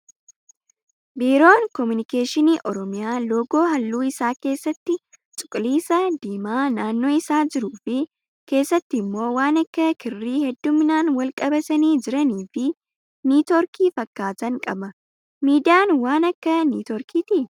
Biiroon komunikeeshinii oromiyaa loogoo halluun isaa keessatti cuquliisa, diimaa naannoo isaa jiruu fi keessatti immoo waan akka kirrii hedduminaan wal qabatanii jiranii fi niitoorkii fakkaatan qaba. Miidiyaan waan Akka niitoorkiiti.